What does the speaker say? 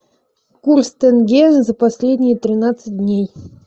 курс тенге за последние тринадцать дней